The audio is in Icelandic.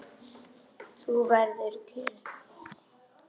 Þú verður kyrr.